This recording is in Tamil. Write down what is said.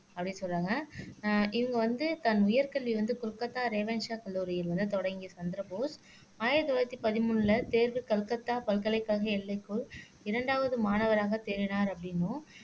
அப்படின்னு சொல்றாங்க அஹ் இவங்க வந்து தன் உயர் கல்வி வந்து கொல்கத்தா ரேவன்ஷா கல்லூரியில் வந்து தொடங்கிய சந்திரபோஸ் ஆயிரத்தி தொள்ளாயிரத்தி பதிமூணுல தேர்வு கல்கத்தா பல்கலைக்கழக எல்லைக்குள் இரண்டாவது மாணவராக தேறினார் அப்படின்னும்